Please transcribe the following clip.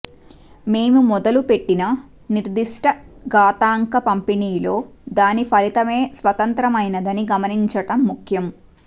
మేము మొదలుపెట్టిన నిర్దిష్ట ఘాతాంక పంపిణీలో దాని ఫలితమే స్వతంత్రమైనదని గమనించడం ముఖ్యం